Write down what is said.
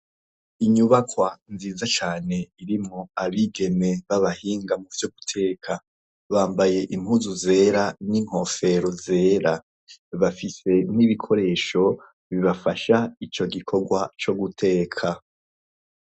Inyubakwa nziza cane irimo abigeme b'abahinga mu vyo guteka bambaye impuzu zera n'inkofero zera bafise n'ibikoresho bibafasha ico gikorwa co guteka.